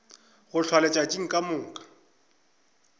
go hlwa letšatši ka moka